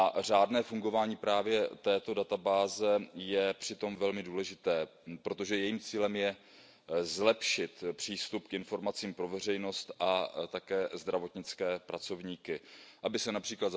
Řádné fungování právě této databáze je přitom velmi důležité, protože jejím cílem je zlepšit přístup k informacím pro veřejnost a také zdravotnické pracovníky, aby se např.